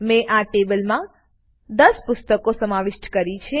મેં આ ટેબલમાં 10 પુસ્તકો સમાવિષ્ટ કરી છે